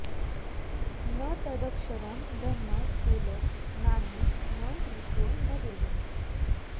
न तदक्षरं ब्रह्म स्थूलं नाणु न ह्रस्वं न दीर्घम्